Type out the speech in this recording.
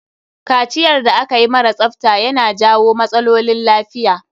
Kaciyar da akayi mara tsafta ya na jawo matsaolin lafiya.